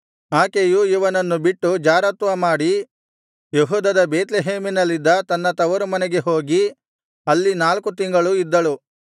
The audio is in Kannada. ಆಕೆಯು ಇವನನ್ನು ಬಿಟ್ಟು ಜಾರತ್ವಮಾಡಿ ಯೆಹೂದದ ಬೇತ್ಲೆಹೇಮಿನಲ್ಲಿದ್ದ ತನ್ನ ತವರುಮನೆಗೆ ಹೋಗಿ ಅಲ್ಲಿ ನಾಲ್ಕು ತಿಂಗಳು ಇದ್ದಳು